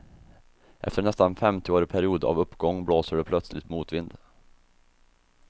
Efter en nästan femtioårig period av uppgång blåser det plötsligt motvind.